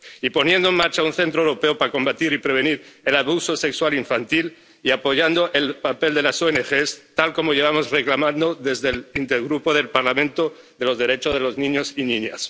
Y poniendo en marcha un centro europeo para combatir y prevenir el abuso sexual infantil y apoyando el papel de las ONG, tal como llevamos reclamando desde el Intergrupo del Parlamento sobre los derechos de los niños y niñas.